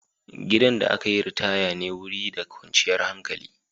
Gidan da aka yi ritaya wuri ne da kwanciyar hankali.